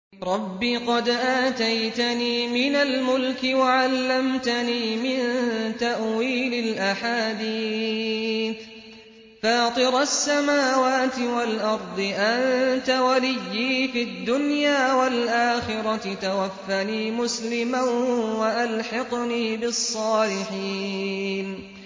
۞ رَبِّ قَدْ آتَيْتَنِي مِنَ الْمُلْكِ وَعَلَّمْتَنِي مِن تَأْوِيلِ الْأَحَادِيثِ ۚ فَاطِرَ السَّمَاوَاتِ وَالْأَرْضِ أَنتَ وَلِيِّي فِي الدُّنْيَا وَالْآخِرَةِ ۖ تَوَفَّنِي مُسْلِمًا وَأَلْحِقْنِي بِالصَّالِحِينَ